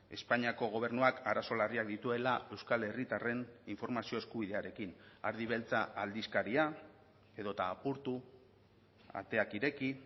espainiako gobernuak arazo larriak dituela euskal herritarren informazio eskubidearekin ardi beltza aldizkaria edota apurtu ateak ireki